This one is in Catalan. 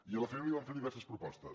i a la família li vam fer diverses propostes